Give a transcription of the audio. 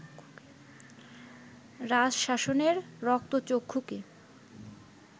রাজশাসনের রক্তচক্ষুকে